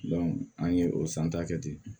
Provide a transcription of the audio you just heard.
an ye o san ta kɛ ten